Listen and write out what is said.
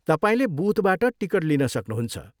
तपाईँले बुथबाट टिकट लिन सक्नुहुन्छ।